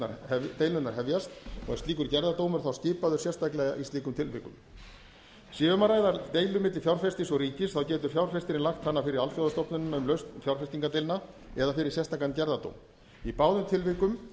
um úrlausn deilunnar hefjast og er slíkur gerðardómur þá sérstaklega skipaður í slíkum tilvikum sé um að ræða deilur milli fjárfestis og ríkis getur fjárfestir lagt hana fyrir alþjóðastofnunina um lausn fjárfestingardeilna eða fyrir sérstakan gerðardóm í báðum tilvikum